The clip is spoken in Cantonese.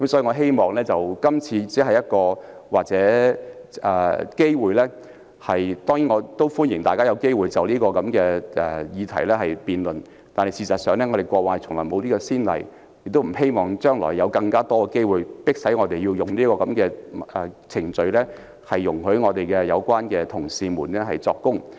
我希望在今次這個機會，歡迎大家就這項議題進行辯論，但事實上過去從來沒有這種先例，我亦不希望將來會有更多機會，迫使我們啟動這個程序，准許有關同事作供。